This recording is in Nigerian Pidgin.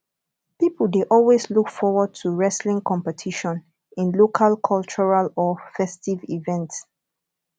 pipo de always look forward to wrestling competition in local cultural or festive event